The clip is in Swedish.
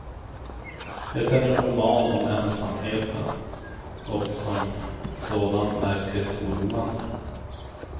Det är en roman om ensamheten, och som sådan märkligt oroande.